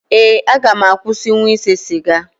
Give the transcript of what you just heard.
Ee, aga m akwụsịnwu ịse siga